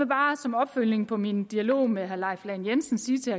bare som opfølgning på min dialog med herre leif lahn jensen sige til